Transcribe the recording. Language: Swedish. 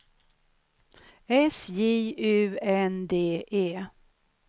S J U N D E